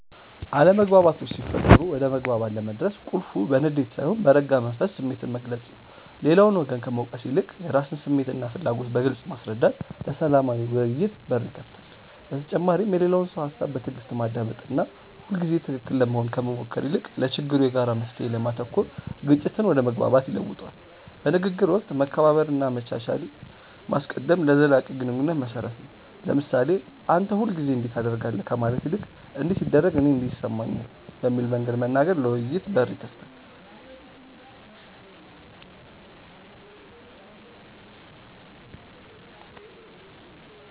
አለመግባባቶች ሲፈጠሩ ወደ መግባባት ለመድረስ ቁልፉ በንዴት ሳይሆን በረጋ መንፈስ ስሜትን መግለጽ ነው። ሌላውን ወገን ከመውቀስ ይልቅ የራስን ስሜትና ፍላጎት በግልጽ ማስረዳት ለሰላማዊ ውይይት በር ይከፍታል። በተጨማሪም የሌላውን ሰው ሃሳብ በትዕግስት ማዳመጥና ሁልጊዜ ትክክል ለመሆን ከመሞከር ይልቅ ለችግሩ የጋራ መፍትሔ ላይ ማተኮር ግጭትን ወደ መግባባት ይለውጠዋል። በንግግር ወቅት መከባበርንና መቻቻልን ማስቀደም ለዘላቂ ግንኙነት መሰረት ነው። ለምሳሌ "አንተ ሁልጊዜ እንዲህ ታደርጋለህ" ከማለት ይልቅ "እንዲህ ሲደረግ እኔ እንዲህ ይሰማኛል" በሚል መንገድ መናገር ለውይይት በር ይከፍታል።